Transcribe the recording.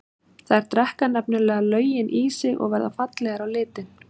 Þær drekka nefnilega löginn í sig og verða fallegar á litinn.